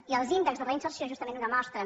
i els índexs de reinserció justament ho demostren